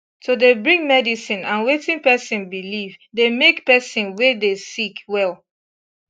to dey bring medicine and wetin pesin believe dey make pesin wey dey sick well